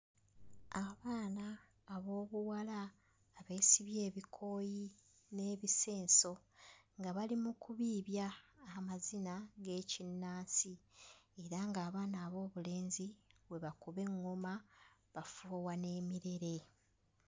Abaana ab'obuwala abeesibye ebikooyi n'ebisenso nga bali mu kubiibya amazina g'ekinnansi era ng'abaana ab'obulenzi bwe bakuba eŋŋoma bafuuwa n'emirere.